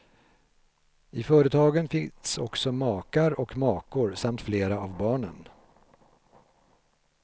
I företagen finns också makar och makor samt flera av barnen.